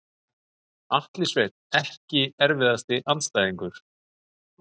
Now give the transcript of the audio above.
Atli Sveinn EKKI erfiðasti andstæðingur?